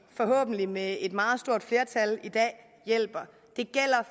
forhåbentlig med et meget stort flertal i dag hjælper det gælder